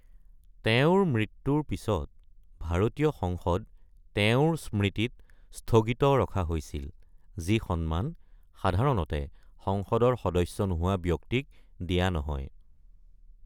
তেওঁৰ মৃত্যুৰ পিছত, ভাৰতীয় সংসদ তেওঁৰ স্মৃতিত স্থগিত ৰখা হৈছিল, যি সন্মান সাধাৰণতে সংসদৰ সদস্য নহোৱা ব্যক্তিক দিয়া নহয়।